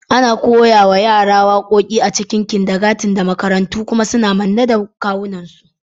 Ana koya wa yara waƙoƙi da waƙoƙi a cikin kindergarten da makarantu, kuma suna manne da kawunansu.